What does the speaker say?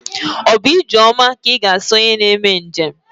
Ọ bụ ijeoma ka ịga asị onye na-eme njem?